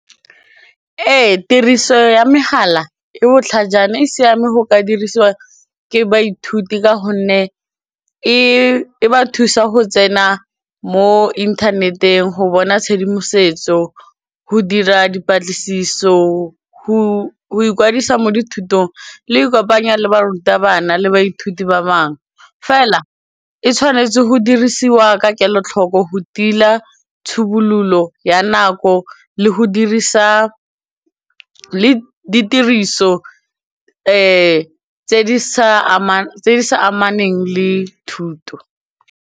Ee, tiriso ya megala e botlhajana e siame go ka dirisiwa ke baithuti ka gonne e ba thusa go tsena mo inthaneteng go bona tshedimosetso go dira dipatlisiso go ikwadisa mo dithutong le e kopanya le barutabana le baithuti ba bangwe fela e tshwanetse go dirisiwa ka kelotlhoko go tila tshobololo ya nako le ditiriso tse di sa amaneng le thuto.